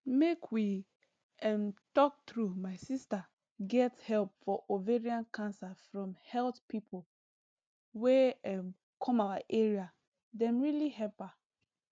make we um talk true my sister get help for ovarian cancer from health pipo wey um come our area dem really help her